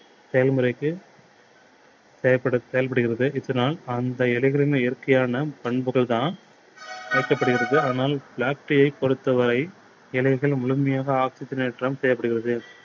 செயல்முறைக்கு செயல்படு செயல்படுகிறது, இதனால் அந்த எளிதில் இயற்கையான பண்புகள் தான் அதனால் black tea யை பொறுத்த வரை எளிதில் முழுமையாக oxygen னேற்றம் தேவைப்படுகிறது.